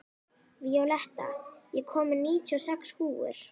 Víóletta, ég kom með níutíu og sex húfur!